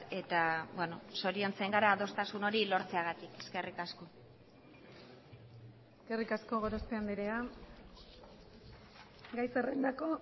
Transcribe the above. eta zoriontzen gara adostasun hori lortzeagatik eskerrik asko eskerrik asko gorospe andrea gai zerrendako